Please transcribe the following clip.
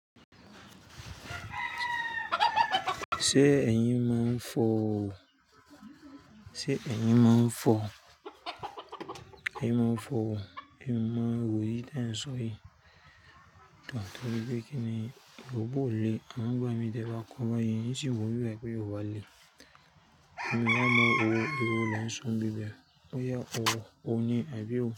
Ṣé ẹ̀yin máa ń fọ̀? Ṣé ẹ̀yin máa ń fọ̀? Ẹ̀yin máa ń fọ̀ o, ẹ̀yin máa ń ro irú tẹ ń sọ yìí. Nítorí pé kíni irú bóò le? Àmọnl ń gba mi tẹ ba kọ̀ báyìí, n ṣì wò wípé ó wa lé. Mi ò mọ irú irú lè ń sọ bíbẹ̀, ó yá ọ, òní àbí ò.